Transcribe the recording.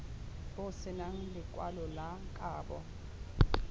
bo senang lekwalo la kabo